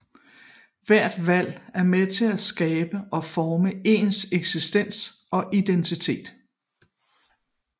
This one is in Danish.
Hvert valg er med til at skabe og forme ens eksistens og identitet